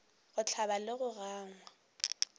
go hlabja le go gangwa